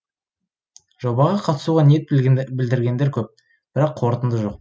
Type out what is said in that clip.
жобаға қатысуға ниет білдіргендер көп бірақ қорытынды жоқ